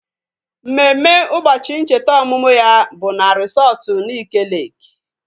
Mmemme ụbọchị ncheta ọmụmụ ya bụ na resọtu Nike Leeki